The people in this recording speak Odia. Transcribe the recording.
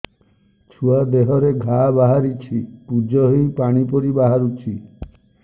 ଛୁଆ ଦେହରେ ଘା ବାହାରିଛି ପୁଜ ହେଇ ପାଣି ପରି ବାହାରୁଚି